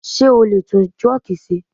Sé o lè tún truck ṣe?